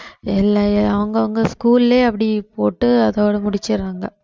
அவங்கவங்க school லயே அப்படி போட்டு அதோட முடிச்சிடறாங்க